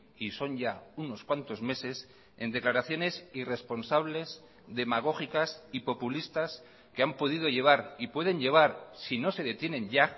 y son ya unos cuantos meses en declaraciones irresponsables demagógicas y populistas que han podido llevar y pueden llevar si no se detienen ya